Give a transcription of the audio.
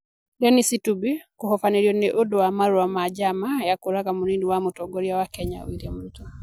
Dennis Itumbi: Kũhobanĩrio nĩ ũndũ wa marũa ma njama ya kũũraga munini wa Mũtongoria wa Kenya William Ruto